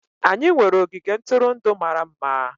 Anyị nwere ogige ntụrụndụ mara mma.